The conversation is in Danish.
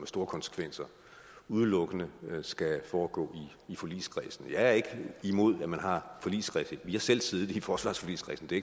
store konsekvenser udelukkende skal foregå i forligskredsen jeg er ikke imod at man har forligskredse vi har selv siddet i forsvarsforligskredsen det